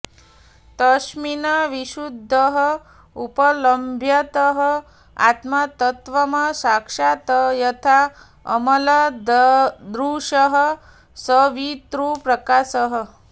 तस्मिन् विशुद्धः उपलभ्यतः आत्मतत्त्वम् साक्षात् यथा अमलदृशः सवितृप्रकाशः